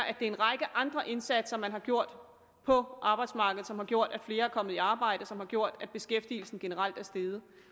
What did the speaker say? er en række andre indsatser man har gjort på arbejdsmarkedet som har gjort at flere er kommet i arbejde og som har gjort at beskæftigelsen generelt er steget